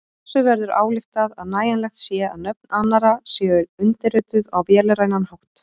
Af þessu verður ályktað að nægjanlegt sé að nöfn annarra séu undirrituð á vélrænan hátt.